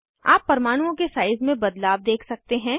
आप परमाणुओं के साइज़ में बदलाव देख सकते हैं